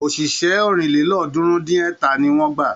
Òṣìṣẹ́ ọ̀rìnlélọ́ọ̀ọ́dúnrún-dín-ẹ̀ta ni wọ́n gbà.